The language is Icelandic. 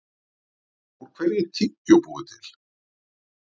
Úr hverju er tyggjó búið til?